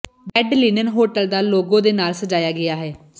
bed linen hotel ਦਾ logo ਦੇ ਨਾਲ ਸਜਾਇਆ ਗਿਆ ਹੈ